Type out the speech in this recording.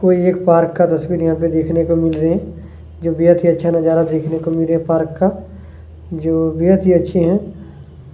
कोई एक यहाँ पे पार्क का तस्वीर यहाँ पे देखने को मिल रही है जो बेहद ही अच्छा नजारा देखने को मिल रहा है पार्क का जो बेहद ही अच्छे है।